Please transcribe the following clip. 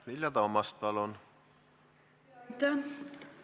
Vilja Toomast, palun!